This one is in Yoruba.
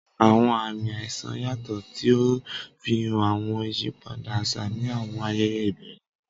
Awọn aami aisan yatọ, ti o nfihan awọn iyipada aṣa ni awọn ayẹyẹ ibẹrẹ.